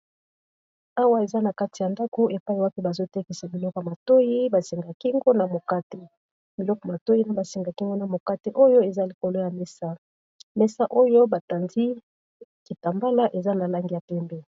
wa eza na kati ya ndako epai waki bazotekisa biloko matoi basengaking naokatemiloko matoi na basengakingo na mokate oyo eza likolo ya mesa mesa oyo batandiy kitambala eza na langi ya pembe